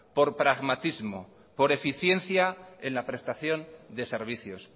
por pragmatismo por eficiencia en la prestación de servicios